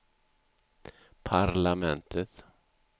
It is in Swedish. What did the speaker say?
parlamentet